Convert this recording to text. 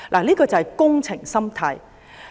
這就是"工程心態"。